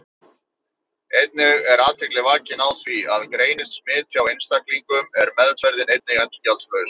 Einnig er athygli vakin á því að greinist smit hjá einstaklingum er meðferðin einnig endurgjaldslaus.